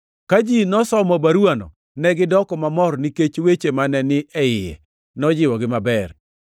Ka ji nosomo baruwano negidoko mamor nikech weche mane ni e iye nojiwogi maber.